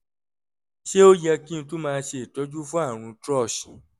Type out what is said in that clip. ṣé ó yẹ kí n tún máa ṣe ìtọ́jú fún àrùn thrush?